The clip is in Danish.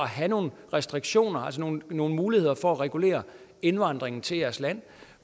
have nogle restriktioner altså nogle muligheder for at regulere indvandringen til jeres land